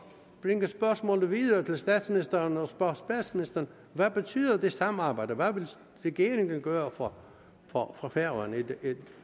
bringe spørgsmålet videre til statsministeren og spørge statsministeren hvad betyder det samarbejde hvad vil regeringen gøre for for færøerne